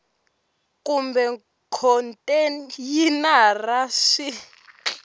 kumbe khonteyinara swi nga ka